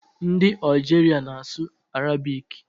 Ndị Ọjiria na-asụ arabik.